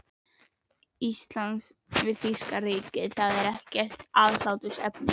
Íslands við þýska ríkið, er ekkert aðhlátursefni.